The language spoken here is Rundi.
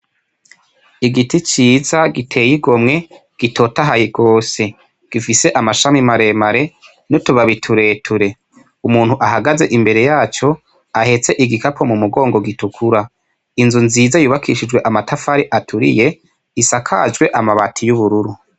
Igiti ciza giteye igomwe gitotahaye gose gifise amashami maremare n'utubabi tureture. Umuntu ahagaze imbere yaco ahetse ikigapo mu mogongo gitukura ,inzu nziza yubakishijwe amatafari aturiye isakajwe amabati y'ubururu.